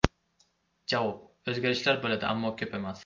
Javob: O‘zgarishlar bo‘ladi, ammo ko‘p emas.